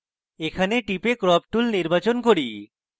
আমি এখানে টিপে crop tool নির্বাচন করি